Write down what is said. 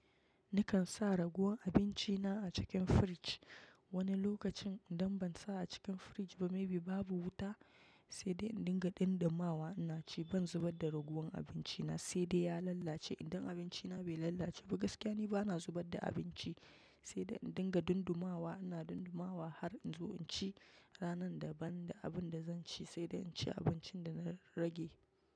Nikan sa ragowan abinci na a cikin fridge. Wani lokacin idan ban sa a cikin fridge ba maybe babu wuta, sai dai in dinga dundumawa, ina ci ban zubar da ragowan abinci na sai dai ya lalace. Idan abinci na bai lalace ba gaskiya ni bana zubar da abinci, sai dai in dinga dundumawa. Ina dundumawa har in zo in ci ranar daban da abin da zan ci sai dai inci abincin da na rage.